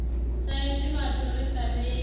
saizwi vhathu ri sa vhei